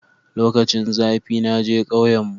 lokacin zafi naje kauyen mu